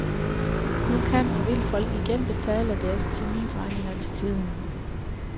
Nu kan og vil folk igen betale deres terminsregninger til tiden.